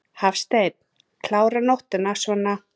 Hafsteinn: Klára nóttina svona?